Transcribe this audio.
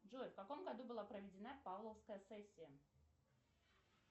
джой в каком году была проведена павловская сессия